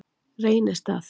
Reynistað